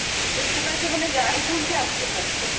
ସେଥିପାଇଁ ସେମାନେ ଜାଣିଶୁଣିକି ଆସୁ ନାହାନ୍ତି